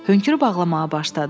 Hönkürüb ağlamağa başladı.